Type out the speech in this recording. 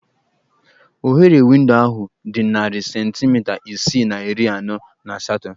Oghere windo ahụ dị narị centimita isii na iri anọ na asatọ